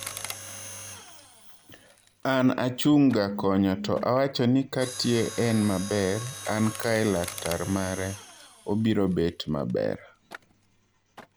An achung' ga konyo to awacho ni Katie en maber, an kae laktar mare, obirobet maber."